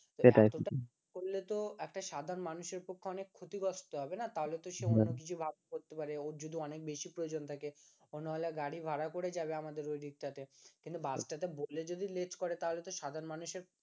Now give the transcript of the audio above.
করলে তো একটা সাধারণ মানুষ এর পক্ষে অনেক ক্ষতিগ্রস্ত হবে না তাহলে তো সে অন্য কিছু বাস করতে পারে ও যদি অনেক বেশি প্রয়োজন থাকে অন্য গাড়ি ভাড়া করে যাবে আমাদের ওই দিকটাতে কিন্তু বাস টা বলে যদি late করে তাহলে তো সাধারণ মানুষের